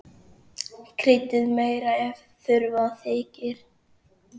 Kryddið meira ef þurfa þykir.